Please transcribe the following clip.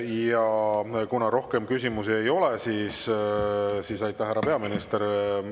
Ja kuna rohkem küsimusi ei ole, siis aitäh, härra peaminister!